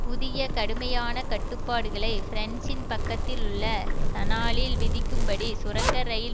புதிய கடுமையான கட்டுப்பாடுகளை பிரன்சின் பக்கத்தில் உள்ள சனாலில் விதிக்கும் படி சுரங்க இரயில்